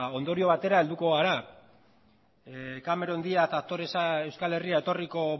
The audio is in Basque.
ondorio batera helduko gara cameron diaz aktoresa euskal herrira etorriko